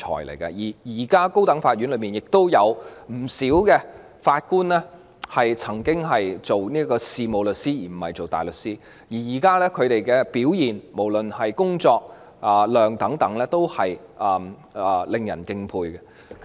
現時不少高等法院法官亦曾經是事務律師，而不是大律師，他們現在的表現，無論是所肩負的工作量等，都是令人敬佩的。